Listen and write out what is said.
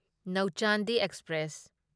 ꯅꯧꯆꯥꯟꯗꯤ express